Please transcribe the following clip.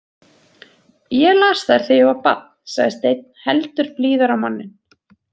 Ég las þær þegar ég var barn, sagði Steinn heldur blíðari á manninn.